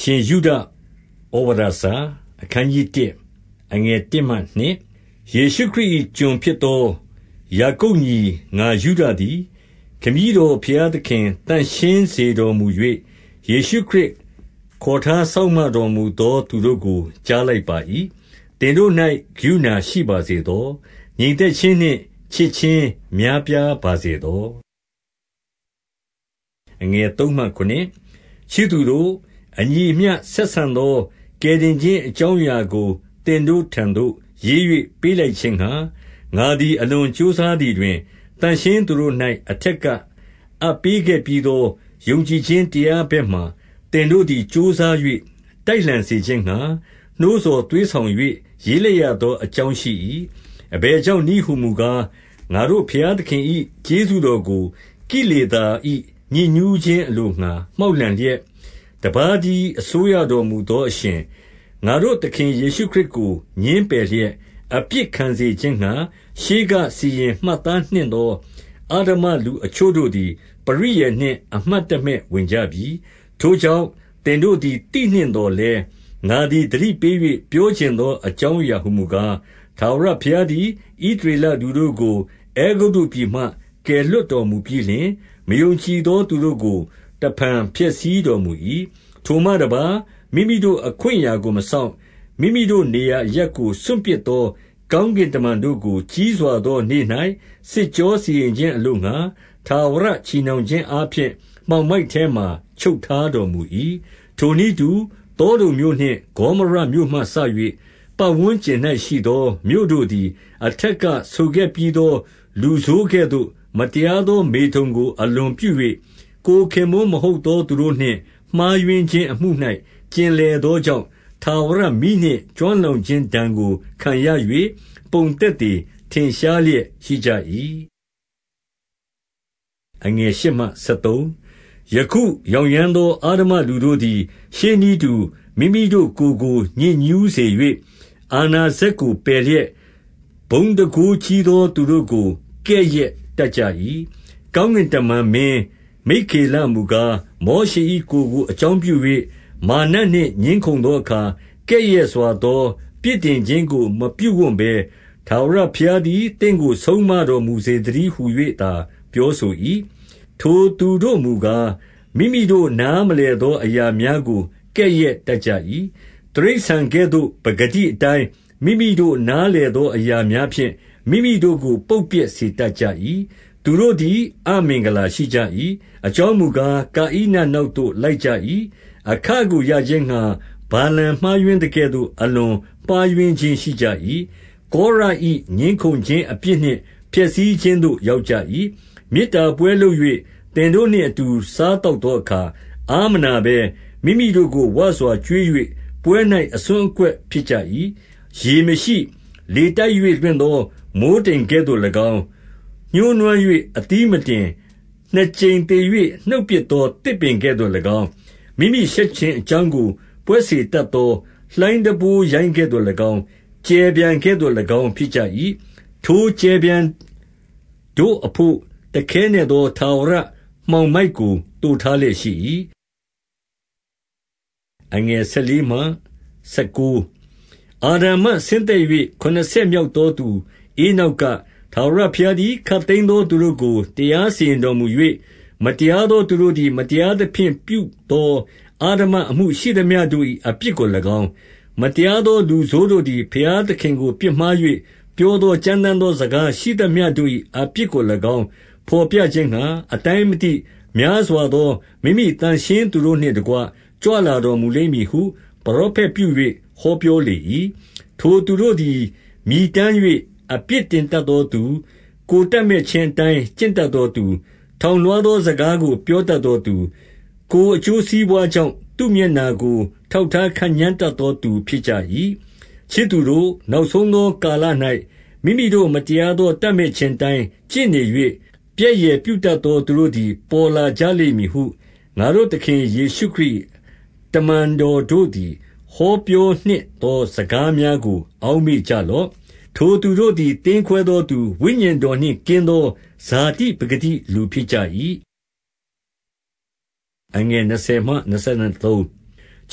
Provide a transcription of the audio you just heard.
ရှင်ယုဒ​ဩဝါဒစာ။ အခနျး 1 အခနျး ၁ ယေရှုခရစ်၏ ကျွန်ဖြစ်သောယာကုပ်ညီ ငါယုဒသည် ခမည်းတော်ဘုရားသခင် သန့်ရှင်းစေတော်မူ၍၊ ယေရှုခရစ် ခေါ်ထားစောင့်မတော်မူသော သူတို့ကို ကြားလိုက်ပါ၏။ 2 သင်တို့၌ကရုဏာရှိပါစေသော။ ငြိမ်သက်ခြင်း နှင့်ချစ်ခြင်းများ ပြားပါစေသော။ 3 ချစ်သူတို့၊ အညီအမျှဆက်ဆံသော ကယ်တင်ခြင်းအကြောင်းအရာကို သင်တို့ထံသို့ရေး၍ ပေးလိုက် ခြင်းငှါ ငါသည်အလွန်ကြိုးစားသည်တွင်၊ သန့်ရှင်းသူတို့၌ အထက်ကအပ်ပေးခဲ့ပြီးသော ယုံကြည်ခြင်း တရား ဘက်မှာ သင်တို့သည် ကြိုးစား၍တိုက်လှန်စေခြင်းငှါ နှိုးဆော်သွေးဆောင်၍ ရေးလိုက်ရသောအကြောင်းရှိ၏။ 4 အဘယ်ကြောင့်နည်းဟူမူကား၊ ငါတို့ဘုရားသခင်၏ ကျေးဇူးတော်ကို ကိလေသာ၏ ညစ်ညူးခြင်း အလိုငှါမှောက်လှန်လျက်၊ တပါးတည်း အစိုးရတော်မူသောအရှင်၊ ငါတို့သခင် ယေရှုခရစ်ကို ငြင်းပယ်လျက်၊ အပြစ်ခံစေခြင်းငှါ ရှေးကစီရင် မှတ်သားနှင့်သော အဓမ္မလူအချို့တို့သည် ပရိယာယ်နှင့် အမှတ်တမဲ့ဝင်ကြပြီ။ 5 ထို့ကြောင့် သင်တို့သည်သိနှင့်သော်လည်း ငါသည် သတိပေး၍ ပြောချင်သော အကြောင်းအရာ ဟူမူကား၊ ထာဝရဘုရားသည် ဣသရေလ လူတို့ကို အဲဂုတ္တုပြည်မှ ကယ်လွှတ်တော်မူပြီးလျှင်၊ မယုံကြည်သော သူတို့ကိုတဖန် ဖျက်ဆီးတော်မူ၏။ 6 ထိုမှတပါး၊ မိမိတို့အခွင့်အရာကိုမစောင့်၊ မိမိတို့ နေရာအရပ်ကို စွန့်ပစ်သော ကောင်းကင်တမန်တို့ကို၊ ကြီးစွာသောနေ့၌ စစ်ကြောစီရင်ခြင်းအလိုငှါ၊ ထာဝရ ချည်နှောင်ခြင်းအားဖြင့် မှောင်မိုက် ထဲမှာချုပ် ထားတော် မူ၏။ 7 ထိုနည်းတူ၊ သောဒုံမြို့နှင့် ဂေါမောရမြို့မှစ၍ ပတ်ဝန်းကျင်၌ ရှိသော မြို့တို့သည်၊ အထက်က ဆိုခဲ့ပြီး သော လူဆိုးကဲ့သို့ မတရားသော မေထုန်ကိုအလွန်ပြု၍ ကိုယ်ခင်ပွန်းမဟုတ်သော သူတို့နှင့်မှားယွင်းခြင်းအမှု၌ ကျင်လည်သောကြောင့်၊ ထာဝရမီးနှင့်ကျွမ်းလောင်ခြင်း ဒဏ်ကိုခံရ၍ ပုံသက်သေထင်ရှားလျက်ရှိကြ၏။ 8 ယခုယောင်ယမ်းသောအဓမ္မလူတို့သည်၊ ရှေးနည်းတူမိမိတို့ ကိုယ်ကိုညစ်ညူးစေ၍၊ အာဏာစက် ကိုပယ်လျက်၊ ဘုန်းတန်ခိုးကြီးသောသူတို့ကို ကဲ့ရဲ့တတ်ကြ၏။ 9 ကောင်းကင်တမန် မင်းမိက္ခေလမူကား၊ မောရှေ၏ ကိုယ်ကို အကြောင်းပြု၍ မာရ်နတ်နှင့် ငြင်းခုံသောအခါ၊ ကဲ့ရဲ့စွာသော ပြစ်တင်ခြင်းကိုမပြုဝံ့ဘဲ၊ ထာဝရဘုရားသည် သင့်ကိုဆုံးမတော်မူစေ သတည်းဟူ၍ သာပြောဆို၏။ 10 ထိုသူတို့မူကား၊ မိမိတို့နားမလည်သောအရာများကို ကဲ့ရဲ့တတ်ကြ၏။ တိရစ္ဆာန်ကဲ့သို့ ပကတိအတိုင်း မိမိတို့နားလည်သော အရာများဖြင့် မိမိတို့ကိုပုပ်ပျက်စေတတ်ကြ၏။ 11 သူတို့သည် အမင်္ဂလာရှိကြ၏။ အကြောင်းမူကား၊ ကာဣနနောက်သို့လိုက်ကြ၏။ အခကိုရခြင်းငှါ ဗာလမ်မှားယွင်းသကဲ့သို့ အလွန်မှားယွန်းခြင်းရှိကြ၏။ ကောရ၏ငြင်းခုံခြင်းအပြစ်နှင့် ဖျက်ဆီးခြင်းသို့ရောက် ကြ၏။ 12 မေတ္တာပွဲလုပ်၍ သင်တို့နှင့်အတူ စားသောက်သောအခါ အားမနာဘဲ၊ မိမိတို့ကိုဝစွာကျွေး၍ ပွဲ၌ အစွန်းအကွက်ဖြစ်ကြ၏။ ရေမရှိ၊ လေတိုက်၍လွင့်သော မိုဃ်းတိမ်ကဲ့သို့၎င်း၊ ညှိုးနွမ်း၍ အသီးမတင်၊ နှစ်ကြိမ် သေ၍ နှုတ်ပစ်သော သစ်ပင်ကဲ့သို့၎င်း၊ 13 မိမိရှက်ခြင်းအကြောင်းကို ပွက်စေတတ်သော လှိုင်းတံပိုးရိုင်းကဲ့သို့၎င်း၊ ကြယ်ပျံကဲ့သို့၎င်းဖြစ်ကြ၏။ ထို ကြယ်ပျံတို့အဘို့တခဲနက်သော ထာဝရမှောင်မိုက်ကို သိုထားလျက်ရှိ၏။ 14 အာဒံမှဆင်းသက်၍ ခုနှစ်ဆက်မြောက်သောသူ ဧနောက်က၊ ထာဝရဘုရားသည် ခပ်သိမ်းသော သူတို့ကို တရားစီရင်တော်မူ၍၊ မတရားသောသူတို့သည် မတရားသဖြင့် ပြုသောအဓမ္မအမှုရှိသမျှတို့၏ အပြစ်ကို၎င်း၊ မတရားသောလူဆိုးတို့သည် ဘုရားသခင်ကို ပြစ်မှား၍ ပြောသောကြမ်းတမ်းသော စကား ရှိသမျှတို့၏ အပြစ်ကို၎င်းဘော်ပြခြင်းငှါ၊ 15 အတိုင်းမသိ များစွာသော မိမိသန့်ရှင်းသူတို့နှင့်တကွကြွလာတော် မူလိမ့်မည်ဟု ပရောဖက်ပြု၍ ဟောပြောလေ၏။ 16 ထိုသူတို့သည် မြည်တမ်း၏ အပြစ်တင်တတ်သောသူ၊ ကိုယ်တပ်မက်ခြင်းအတိုင်း ကျင့်တတ်သောသူ၊ ထောင်လွှားသော စကားကိုပြောတတ်သောသူ၊ ကိုယ်အကျိုးစီးပွားကြောင့် သူ့မျက်နှာကို ထောက်ထား ခန့်ညားတတ်သော သူဖြစ်ကြ၏။ 17 ချစ်သူတို့၊ နောက်ဆုံးသောကာလ၌၊ မိမိတို့မတရားသော တပ်မက်ခြင်းအတိုင်း ကျင့်နေ၍၊ ပြက်ယယ်ပြုတတ်သော သူတို့သည် ပေါ်ကြလိမ့်မည်ဟု 18 ငါတို့သခင်ယေရှုခရစ်၏ တမန်တော်တို့သည် ဟောပြောနှင့်သော စကားများကို အောက်မေ့ကြလော့။ 19 ထိုသူတို့သည်သင်းခွဲသောသူ၊ ဝိညာဉ်တော်နှင့် ကင်းသော ဇာတိပကတိလူဖြစ်ကြ၏။ 20